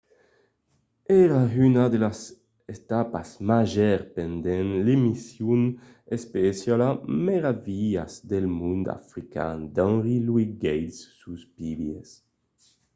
èra una de las etapas màgers pendent l'emission especiala meravilhas del mond african d'henry louis gates sus pbs